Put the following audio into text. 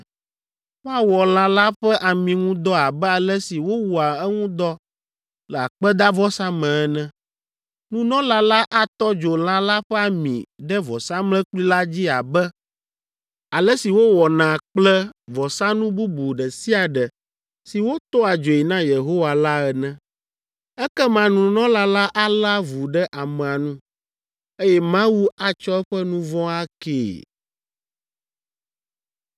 Woawɔ lã la ƒe ami ŋu dɔ abe ale si wowɔa eŋu dɔ le akpedavɔsa me ene. Nunɔla la atɔ dzo lã la ƒe ami ɖe vɔsamlekpui la dzi abe ale si wowɔna kple vɔsanu bubu ɖe sia ɖe si wotɔa dzoe na Yehowa la ene. Ekema nunɔla la alé avu ɖe amea nu, eye Mawu atsɔ eƒe nu vɔ̃ akee.